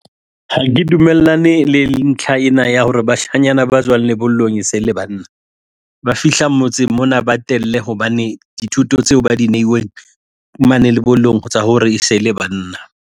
Ha ke dumellane le ntlha ena ya hore bashanyana ba tswang lebollong e se le banna ba fihla motseng mona ba telle hobane dithuto tseo ba di neilweng mane lebollong tsa hore e se le banna.